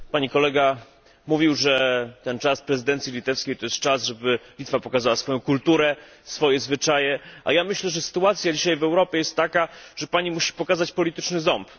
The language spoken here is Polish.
Pani kolega mówił, że ten czas prezydencji litewskiej to jest czas, w którym Litwa może pokazać swoją kulturę, swoje zwyczaje, a ja myślę, że sytuacja dzisiaj w Europie jest taka, że Pani musi pokazać polityczny ząb.